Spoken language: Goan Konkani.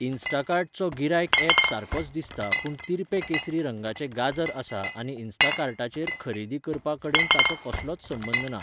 इंस्टाकार्ट चो गिरायक ऍप सारकोच दिसता पूण तिरपें केसरी रंगाचें गाजर आसा आनी इंस्टाकार्टचेर खरेदी करपा कडेन ताचो कसलोच संबंद ना.